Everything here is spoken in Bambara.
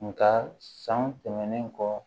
Nga san tɛmɛnen kɔ